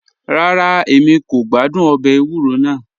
Rárá, Èmi kò gbàdún òbè èwúrọ̀ náà